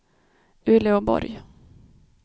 Uleåborg